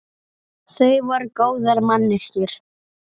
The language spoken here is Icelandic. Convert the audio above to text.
Þau voru góðar manneskjur.